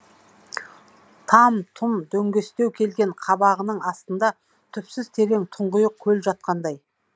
там тұм дөңестеу келген қабағының астында түпсіз терең тұңғиық көл жатқандай